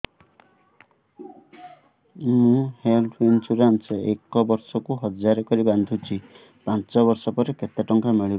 ମୁ health insurance ଏକ ବର୍ଷକୁ ହଜାର କରି ବାନ୍ଧୁଛି ପାଞ୍ଚ ବର୍ଷ ପରେ କେତେ ଟଙ୍କା ମିଳିବ